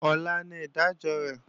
Ọ̀la ni ìdájọ́ rẹ̀